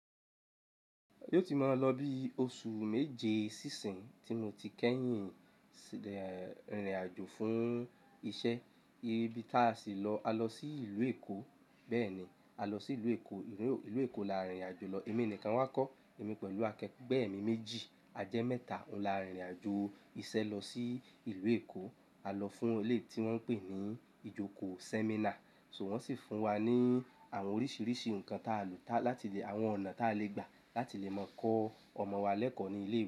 Yóò tí máa lọ bí oṣù méje sí ìsín, tí mo ti kẹ́yìn rìn rìn àjò fún iṣẹ́. Ibi tí a sì lọ, a lọ sí ìlú Èkó. Bẹ́ẹ̀ni, a lọ sí ìlú Èkó. Ìlú Èkó là rìnrìn àjò lọ. Èmi nìkan wa kọ́, èmi pẹ̀lú akẹgbẹ́ mi méjì. A jẹ́ mẹ́ta ń là ń rìnrìn àjò iṣẹ́ lọ sí ìlú Èkó. A lọ fún eléyi tí wọ́n ń pè ní ìjókò séminà. So wọ́n sì fún wa ní àwọn oríṣiríṣi nǹkan táa lè, láti lè, àwọn ọ̀nà táa lè gbà láti lè mọ kọ́ ọmọ wa lẹ́kọ̀ọ́ ní ilé.